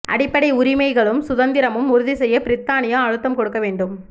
அடிப்படை உரிமைகளும் சுதந்திரமும் உறுதி செய்ய பிரித்தானியா அழுத்தம் கொடுக்க வேண்டும்